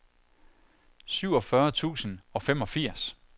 syvogfyrre tusind og femogfirs